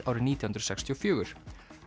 árið nítján hundruð sextíu og fjögur